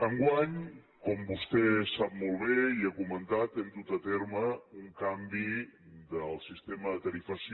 enguany com vostè sap molt bé i ha comentat hem dut a terme un canvi del sistema de tarifació